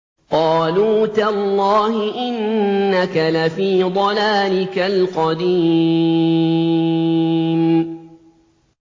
قَالُوا تَاللَّهِ إِنَّكَ لَفِي ضَلَالِكَ الْقَدِيمِ